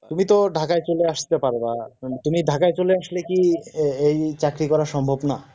তুমি তো ঢাকায় চলে আসতে পারবা কিন্তু তুমি ঢাকায় চলে আসলে কি ওই চাকরি করা সম্ভব না